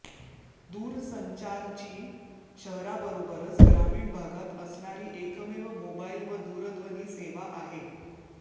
दूरसंचारची शहराबरोबरच ग्रामीण भागात असणारी एकमेव मोबाईल व दूरध्वनी सेवा आहे